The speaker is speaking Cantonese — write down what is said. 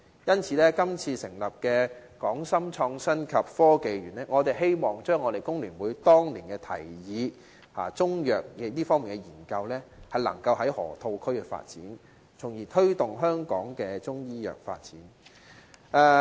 因此，適逢這次建議成立"港深創新及科技園"，我們希望重提香港工會聯合會當年的提議，讓中藥研究能夠在河套區發展，從而推動香港的中醫藥發展。